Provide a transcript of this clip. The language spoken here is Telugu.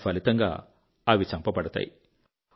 తత్ఫలితంగా అవి చంపబడతాయి